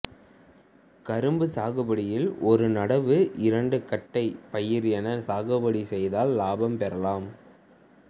கரும்பு சாகுபடியில் ஒரு நடவு இரண்டு கட்டை பயிர்என சாகுபடி செய்தால் லாபம் பெறலாம்